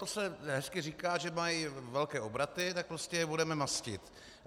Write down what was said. To se hezky říká, že mají velké obraty, tak prostě je budeme mastit.